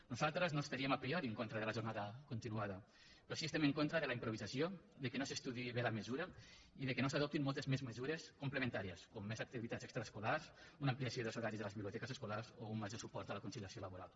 nosaltres no estaríem a priori en contra de la jornada continuada però sí que estem en contra de la improvisació que no s’estudiï bé la mesura i que no s’adoptin moltes més mesures complementàries com més activitats extraescolars una ampliació dels horaris de les biblioteques escolars o un major suport a la conciliació laboral